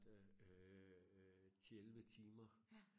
der øh ti elleve timer